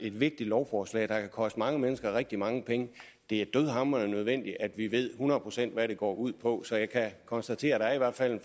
et vigtigt lovforslag der kan koste mange mennesker rigtig mange penge det er dødhamrende nødvendigt at vi ved hundrede procent hvad det går ud på så jeg kan konstatere at der i hvert fald